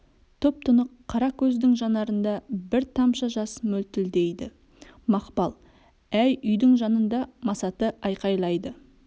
тұп тұнық қара көздің жанарында бір тамша жас мөлтілдейді мақпал әй үйдің жанында масаты айқайлайды